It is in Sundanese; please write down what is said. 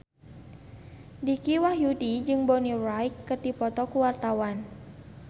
Dicky Wahyudi jeung Bonnie Wright keur dipoto ku wartawan